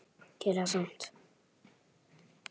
Gerir það samt.